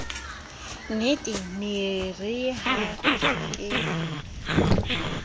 nnetee nee yeere ha ke